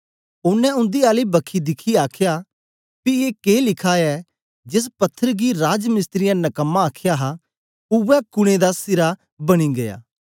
ओनें उन्दी आली बखी दिखियै आखया पी ए के लिखा ऐ जेस पत्थर गी राजमिस्त्रियें नकमा आखया हा उवै कुने दा सिरा बनी गीया